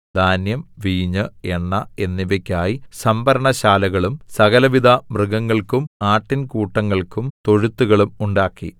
ധാന്യം വീഞ്ഞ് എണ്ണ എന്നിവക്കായി സംഭരണ ശാലകളും സകലവിധ മൃഗങ്ങൾക്കും ആട്ടിൻ കൂട്ടങ്ങൾക്കും തൊഴുത്തുകളും ഉണ്ടാക്കി